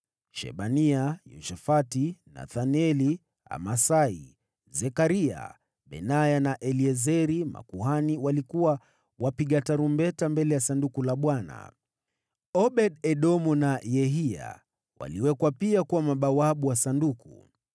Shebania, Yoshafati, Nethaneli, Amasai, Zekaria, Benaya na Eliezeri, makuhani, walikuwa wapiga tarumbeta mbele ya Sanduku la Mungu. Obed-Edomu na Yehiya waliwekwa pia kuwa mabawabu wa Sanduku.